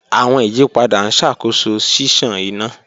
Awọn iyipada n ṣakoso ṣiṣan ina.